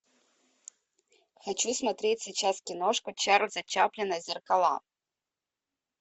хочу смотреть сейчас киношку чарльза чаплина зеркала